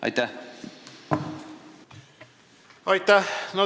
Aitäh!